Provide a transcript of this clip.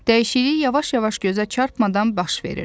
Dəyişiklik yavaş-yavaş gözə çarpmadan baş verirdi.